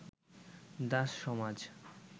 দাস-সমাজ